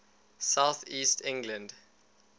south east england